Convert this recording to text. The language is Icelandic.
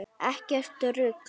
Ekkert rugl!